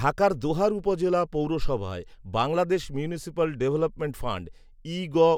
ঢাকার দোহার উপজেলা পৌরসভায় বাংলাদেশ মিউনিসিপ্যাল ডেভেলপমেন্ট ফান্ড, ইগউঋ